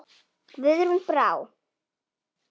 Guðrún Brá.